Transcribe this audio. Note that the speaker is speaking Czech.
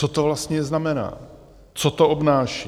Co to vlastně znamená, co to obnáší?